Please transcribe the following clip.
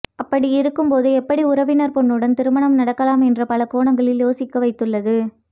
அப்படி இருக்கும் போது எப்படி உறவினர் பெண்ணுடன் திருமணம் நடக்கலாம் என்ற பல கோணங்களில் யோசிக்க வைத்துள்ளது